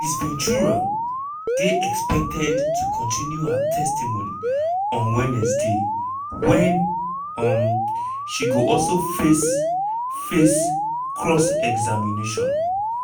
ms ventura dey expected to continue her testimony on wednesday wen um she go also face face cross-examination.